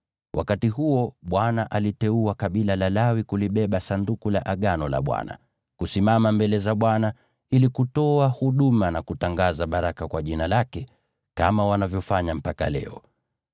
Wakati huo Bwana aliteua kabila la Lawi kulibeba Sanduku la Agano la Bwana , kusimama mbele za Bwana ili kutoa huduma, na kutangaza baraka kwa Jina lake, kama wanavyofanya mpaka leo.